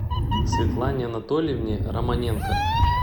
светлане анатольевне романенко